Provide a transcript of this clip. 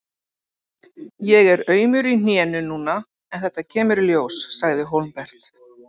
Ég er aumur í hnénu núna en þetta kemur í ljós, sagði Hólmbert.